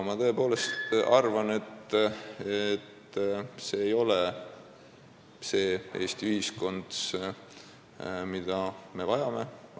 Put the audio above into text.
Ma tõepoolest arvan, et see ei ole see Eesti ühiskond, mida me vajame.